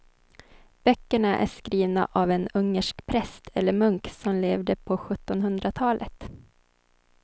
Böckerna är skrivna av en ungersk präst eller munk som levde på sjuttonhundratalet.